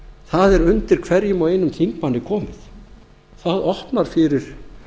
það er undir hverjum og einum þingmanni komið það opnar fyrir